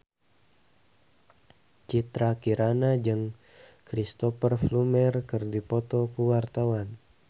Citra Kirana jeung Cristhoper Plumer keur dipoto ku wartawan